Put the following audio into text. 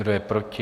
Kdo je proti?